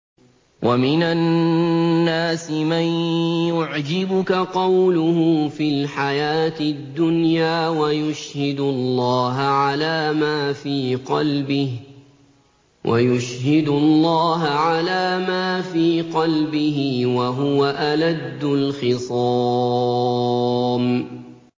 وَمِنَ النَّاسِ مَن يُعْجِبُكَ قَوْلُهُ فِي الْحَيَاةِ الدُّنْيَا وَيُشْهِدُ اللَّهَ عَلَىٰ مَا فِي قَلْبِهِ وَهُوَ أَلَدُّ الْخِصَامِ